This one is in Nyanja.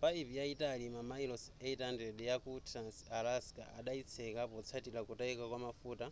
payipi yayitali mamayilosi 800 yaku trans-alaska adayitseka potsatira kutayika kwamafuta